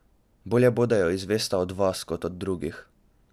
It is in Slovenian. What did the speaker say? Bolje bo, da jo izvesta od vas kot od drugih.